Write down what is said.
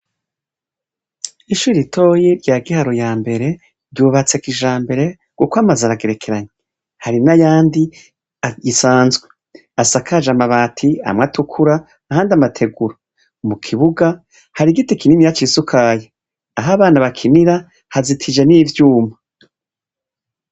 Ishuri ritoyi rya giharu ya mbere, ryubatseko ija mbere guko amaze aragerekeranye, hari n'ayandi gisanzwe asakaje amabati amwa atukura ahandi amategura, mu kibuga hari igiti kinimi yacisukaya, ahabana bakinira hazitije n'ivyuma.